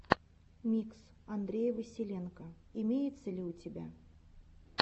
микс андрея василенко имеется ли у тебя